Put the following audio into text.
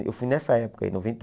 Eu fui nessa época aí, noventa